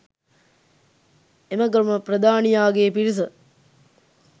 එම ගම ප්‍රධානියාගේ පිරිස